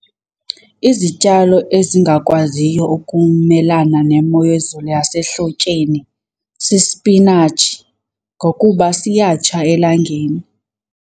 Izityalo ezingakwaziyo ukumelana nemo yezulu yasehlotyeni sisipinatshi ngokuba siyatsha elangeni.